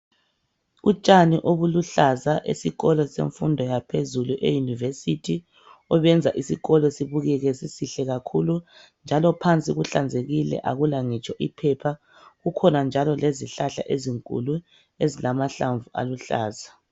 Utshani obuluhlaza esikolo semfundo yaphezulu e University obenza isikolo sibukeke sisihle kakhulu njalo phansi kuhlanzekile akula ngitsho iphepha. Kukhona njalo lezihlahla ezinkulu ezilamahlamvu aluhlaza.